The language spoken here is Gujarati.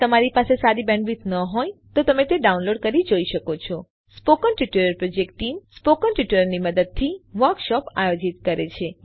જો તમારી પાસે સારી બેન્ડવિડ્થ ન હોય તો તમે ડાઉનલોડ કરી તે જોઈ શકો છો spoken tutorial project team spoken ટ્યુટોરીયલોની મદદથી વર્કશોપ આયોજિત કરે છે